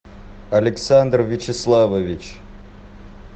александр вячеславович